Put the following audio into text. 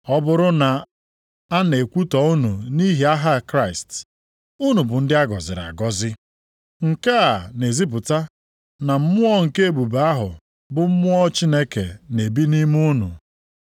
Ọ bụrụ na a na-ekwutọ unu nʼihi aha Kraịst, unu bụ ndị a gọziri agọzi. Nke a na-ezipụta na mmụọ nke ebube ahụ bụ mmụọ Chineke na-ebi nʼime unu.